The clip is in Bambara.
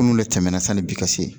Minnu de tɛmɛna sanni bi ka se